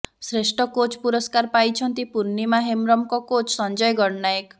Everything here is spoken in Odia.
ଶ୍ରେଷ୍ଠ କୋଚ୍ ପୁରସ୍କାର ପାଇଛନ୍ତି ପୂର୍ଣ୍ଣିମା ହେମ୍ବ୍ରମଙ୍କ କୋଚ୍ ସଞ୍ଜୟ ଗଡ଼ନାୟକ